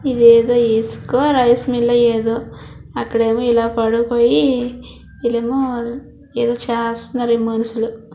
ఇది ఏదో ఇసుక రైస్ మిల్. ఏదో అక్కడ ఏమో ఇలా పడుకోని ఇళ్లు ఏమో ఏదో చేస్తున్నరు. ఈ మనుషులు--